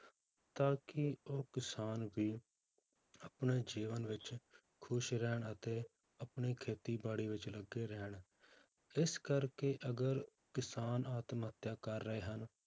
ਤਾਂ ਕਿ ਉਹ ਕਿਸਾਨ ਵੀ ਆਪਣੇ ਜੀਵਨ ਵਿੱਚ ਖ਼ੁਸ਼ ਰਹਿਣ ਅਤੇ ਆਪਣੀ ਖੇਤੀਬਾੜੀ ਵਿੱਚ ਲੱਗੇ ਰਹਿਣ, ਇਸ ਕਰਕੇ ਅਗਰ ਕਿਸਾਨ ਆਤਮ ਹੱਤਿਆ ਕਰ ਰਹੇ ਹਨ,